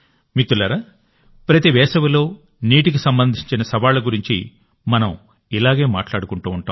మిత్రులారాప్రతి వేసవిలో నీటికి సంబంధించిన సవాళ్ల గురించి మనం ఇలాగే మాట్లాడుకుంటూ ఉంటాం